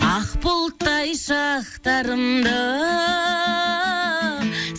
ақ бұлттай шақтарымда